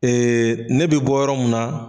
Ee ne bɛ bɔ yɔrɔ min na.